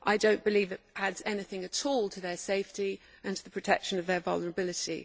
I do not believe it adds anything at all to their safety or to the protection of their vulnerability.